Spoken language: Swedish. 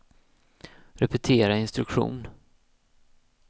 repetera instruktion